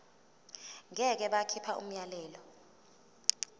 ngeke bakhipha umyalelo